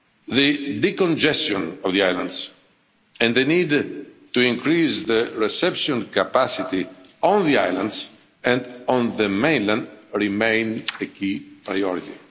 The de congestion of the islands and the need to increase the reception capacity on the islands and on the mainland remain a key priority.